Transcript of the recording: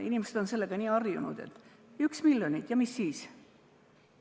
Inimesed on sellega nii harjunud, et 1 miljon ja mis siis!